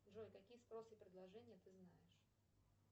джой какие спросы и предложения ты знаешь